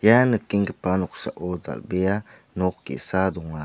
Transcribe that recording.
ia nikenggipa noksao dal·bea nok ge·sa donga.